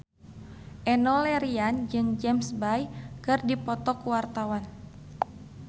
Enno Lerian jeung James Bay keur dipoto ku wartawan